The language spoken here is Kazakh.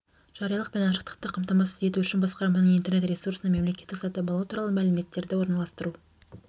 жариялық пен ашықтықты қамтамасыз ету үшін басқарманың интернет-ресурсына мемлекеттік сатып алу туралы мәліметтерді орналастыру